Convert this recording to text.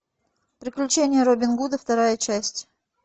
приключения робин гуда вторая часть